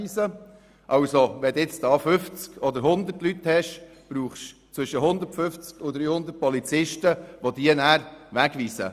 Wenn es 50 oder 100 Leute sind, braucht es 150 beziehungsweise 300 Polizisten, die diese wegweisen.